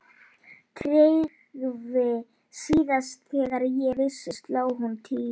TRYGGVI: Síðast þegar ég vissi sló hún tíu.